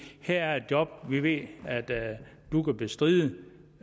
her er et job vi ved at du kan bestride